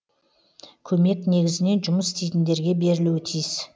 көмек негізінен жұмыс істейтіндерге берілуі тиіс